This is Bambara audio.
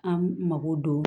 An mago don